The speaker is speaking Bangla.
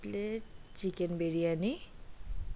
Plate chicken biryani,